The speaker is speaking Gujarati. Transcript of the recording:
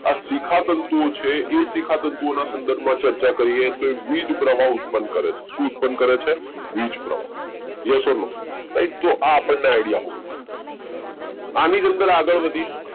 આ શિખા તંતુઓ છે એ શિખા તંતુઓના સંદર્ભમાં ચર્ચા કરીએ તો વીજ પ્રવાહ ઉત્પન્ન કરે છે ઉત્પન્ન કરે છે વીજ પ્રવાહ yes or no તો આપણને આઈડિયા આવે આને જ અંદર આગળ વધીશું